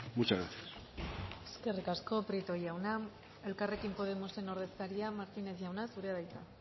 muchas gracias eskerrik asko prieto jauna elkarrekin podemosen ordezkaria martínez jauna zurea da hitza